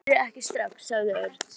Það byrjar ekki strax, sagði Örn.